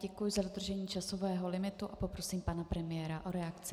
Děkuji za dodržení časového limitu a poprosím pana premiéra o reakci.